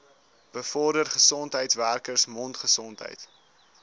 bevorder gesondheidswerkers mondgesondheid